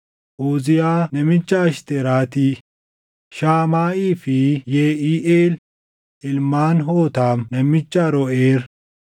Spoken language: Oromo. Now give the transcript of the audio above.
Uziyaa namicha Ashteraati, Shaamaaʼii fi Yeʼiiʼeel ilmaan Hootaam namicha Aroʼeer,